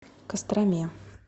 костроме